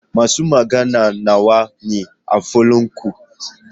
Masu magana nawa ne a falon ku?